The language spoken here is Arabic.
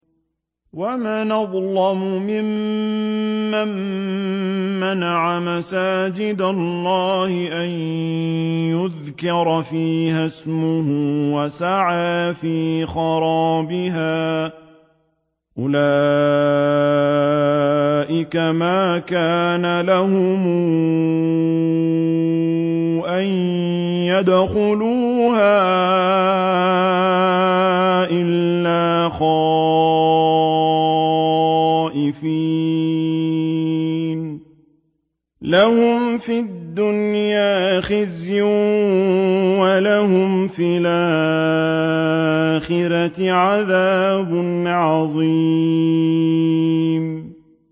وَمَنْ أَظْلَمُ مِمَّن مَّنَعَ مَسَاجِدَ اللَّهِ أَن يُذْكَرَ فِيهَا اسْمُهُ وَسَعَىٰ فِي خَرَابِهَا ۚ أُولَٰئِكَ مَا كَانَ لَهُمْ أَن يَدْخُلُوهَا إِلَّا خَائِفِينَ ۚ لَهُمْ فِي الدُّنْيَا خِزْيٌ وَلَهُمْ فِي الْآخِرَةِ عَذَابٌ عَظِيمٌ